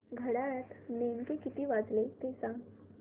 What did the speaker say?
घड्याळात नेमके किती वाजले ते सांग